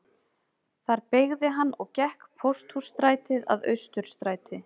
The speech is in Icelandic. Þar beygði hann og gekk Pósthússtrætið að Austurstræti